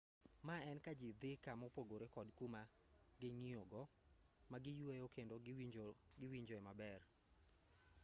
ma en kajii dhii kama opogoree kod kuma ging'iyogo magiyueye kendo giwinjoe maber